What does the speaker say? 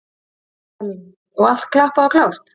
Elín: Og allt klappað og klárt?